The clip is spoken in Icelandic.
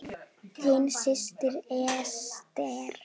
Þín systir, Ester.